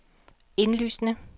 indlysende